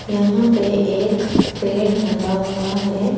यहां पे एक पेड़ लगा हुआ है।